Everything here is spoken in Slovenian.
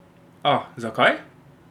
Ah, zakaj?